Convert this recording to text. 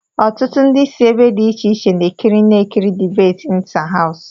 Ọtụtụ ndị si ebe dị iche iche na-ekirina-ekiri dibéti ịntáháws